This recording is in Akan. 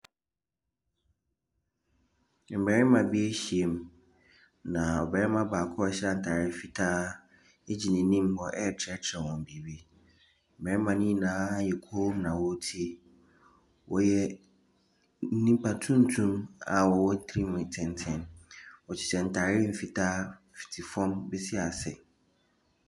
Mmarima bi ahyia mu, na ɔbarima baako a ɔhyɛ ataare fitaa gyina anim hɔ ɛrekyerɛkyerɛ wɔn biribi. Mmarima ne nyinaa ayɛ komm na wɔretie, wɔyɛ nnipa tuntum a wɔwɔ tirihwi tenten wɔhyɛ ntaare mfitaa fiti fam bɛsi ase.